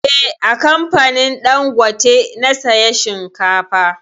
Eh, a kamfanin dangote na saya shinkafa